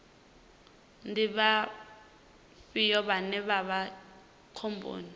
ndi vhafhio vhane vha vha khomboni